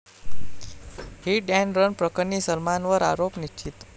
hit and run प्रकरणी सलमानवर आरोप निश्चित